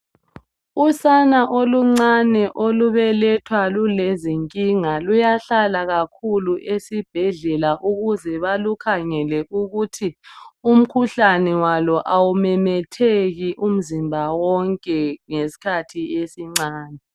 Usana oluncane olubelethwa lulezinkinga luyahlala kakhulu esibhedlelela ukuze balukhangele ukuthi umkhuhlane walo awumemetheki umzimba wonke ngesikhathi esincane.